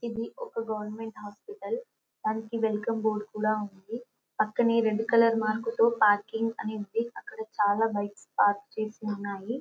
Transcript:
ఇది ఒక government hospital దానికి వెల్కమ్ బోర్డు కూడా ఉంది పక్కనే రెడ్ కలర్ మార్క్ తో పార్కింగ్ అని ఉంది అక్కడ చాలా బైక్స్ పార్క్ చేసి ఉన్నాయి.